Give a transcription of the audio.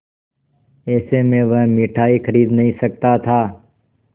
ऐसे में वह मिठाई खरीद नहीं सकता था